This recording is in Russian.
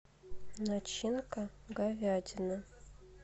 начинка говядина